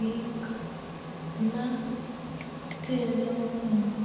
Gik makelo mor